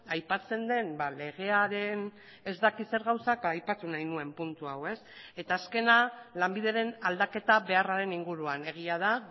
aipatzen den legearen ez dakit zer gauzak aipatu nahi nuen puntu hau eta azkena lanbideren aldaketa beharraren inguruan egia da